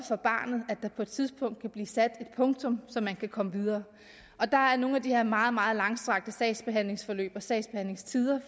for barnet at der på et tidspunkt kan blive sat et punktum så man kan komme videre og der er nogle af de her meget meget langstrakte sagsbehandlingsforløb og sagsbehandlingstider